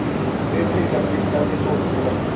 वे फिर गम्भीरता से सोचने लगे